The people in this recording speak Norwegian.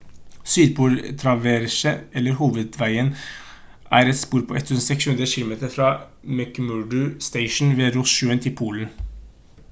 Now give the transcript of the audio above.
sydpol-traverset eller hovedveien er et spor på 1600 km fra mcmurdo station ved ross-sjøen til polen